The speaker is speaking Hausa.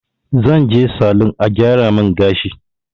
Zan je salun a gyara min gashi